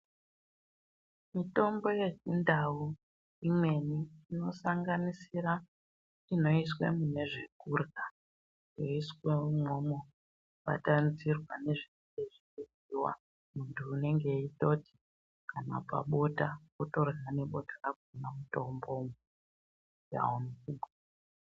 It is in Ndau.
Mitombo yeChiNdau imweni inosanganisira inoiswe mune zvekurya. Yoiswe imwomwo yobatanidzirwa nezvekurya, yoryiwa. Muntu unenge eyitoti kana pabota wotorya nebota rakona mitomboyo,